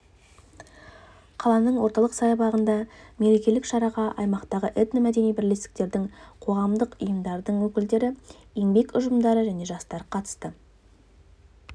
қаланың орталық саябағындағы мерекелік шараға аймақтағы этномәдени бірлестіктердің қоғамдық ұйымдардың өкілдері еңбек ұжымдары және жастар қатысты